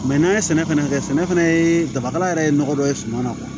n'an ye sɛnɛ fana kɛ sɛnɛ fana ye dabakɛla yɛrɛ ye nɔgɔ dɔ ye suman na